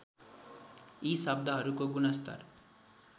यी शब्दहरूको गुणस्तर